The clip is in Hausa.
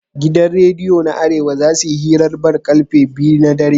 Gidan rediyo na arewa zasuyi hirar ball karfe biyu na dare